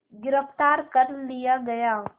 गिरफ़्तार कर लिया गया